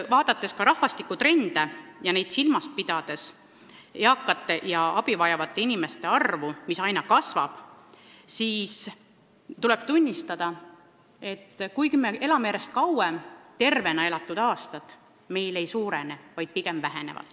Vaadates ka rahvastikutrende ja silmas pidades eakate ja abi vajavate inimeste arvu, mis aina kasvab, tuleb tunnistada, et kuigi me elame järjest kauem, tervena elatud aastate arv meil ei suurene, vaid pigem väheneb.